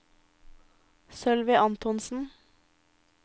Sølvi Antonsen